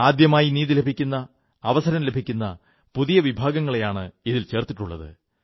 ആദ്യമായി നീതി ലഭിക്കുന്ന അവസരം ലഭിക്കുന്ന പുതിയ വിഭാഗങ്ങളെയാണ് ഇതിൽ ചേർത്തിട്ടുള്ളത്